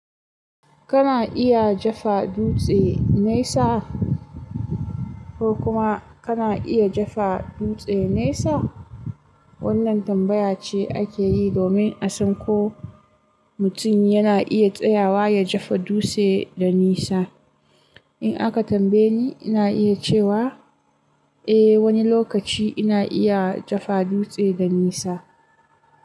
Kana iya jefa dutse naisa ko kuma kana iya jefa dutse naisa? Wannan tambaya ce ake yi domin a san ko mutum yana iya tsayawa ya jefa dutse da nisa. In aka tambaye ni, ina iya cewa eh wani lokaci ina iya jefa dutse da nisa.